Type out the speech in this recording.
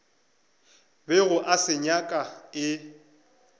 bego a se nyaka e